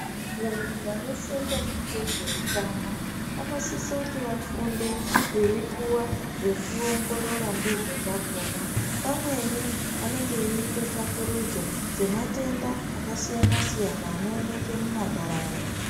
Vantu vanosenza ngezveutano vanosise kuti vafunde veipuwa zvekuongorora ndizvo zvakona pamweni vanenge veyiita tsvakurudzo dzematenda akasiyana siyana anooneke mumandaraunda.